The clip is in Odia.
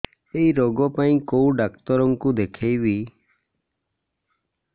ଏଇ ରୋଗ ପାଇଁ କଉ ଡ଼ାକ୍ତର ଙ୍କୁ ଦେଖେଇବି